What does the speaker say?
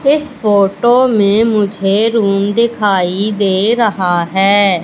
इस फोटो मे मुझे रूम दिखाई दे रहा है।